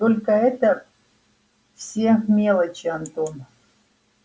только это все мелочи антон